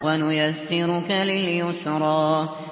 وَنُيَسِّرُكَ لِلْيُسْرَىٰ